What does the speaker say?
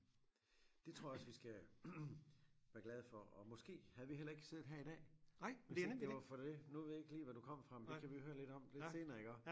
Det tror jeg også vi skal være glade for og måske havde vi heller ikke siddet her i dag hvis ikke det var for det nu ved jeg ikke lige hvad du kom fra men det kan vi høre lidt om lidt senere iggå